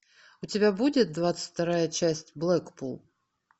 у тебя будет двадцать вторая часть блэкпул